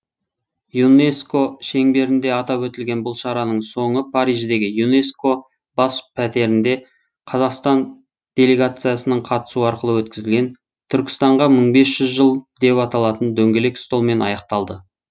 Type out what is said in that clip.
юнеско шеңберінде атап өтілген бұл шараның соңы париждегі юнеско бас пәтерінде қазақстан делегациясының қатысуы арқылы өткізілген түркістанға мың бес жүз жыл деп аталатын дөңгелек столмен аяқталды